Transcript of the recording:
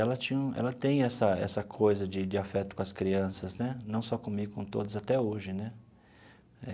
Ela tinha um ela tem essa essa coisa de de afeto com as crianças né, não só comigo, com todas, até hoje né.